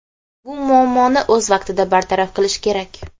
Bu muammoni o‘z vaqtida bartaraf qilish kerak.